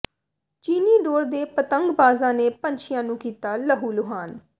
ਚੀਨੀ ਡੋਰ ਦੇ ਪਤੰਗਬਾਜ਼ਾਂ ਨੇ ਪੰਛੀਆਂ ਨੂੰ ਕੀਤਾ ਲਹੂਲੁਹਾਨ